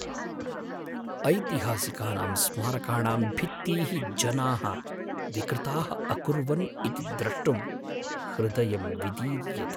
ऐतिहासिकानां स्मारकाणां भित्तीः जनाः विकृताः अकुर्वन् इति द्रष्टुं हृदयं विदीर्यते।